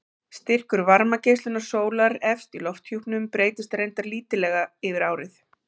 Styrkur varmageislunar sólar efst í lofthjúpnum breytist reyndar lítillega yfir árið.